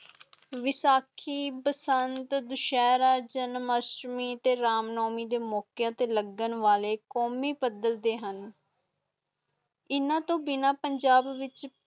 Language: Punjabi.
ਵੇਸ਼ਖੀ, ਬਸੰਤ, ਦੇਸ਼ਰਾ, ਜਨਾਮਸਟਮੀ ਤੇ ਰਾਮਨਾਵਾਮੀ ਤੇ ਲਗਨ ਵਾਲੇ ਕੌਮੀ ਬਦਲਦੇ ਹੁਣ ਇੰਨਾ ਤੋਂ ਬਿਨਾ ਪੰਜਾਬ ਵਿਚ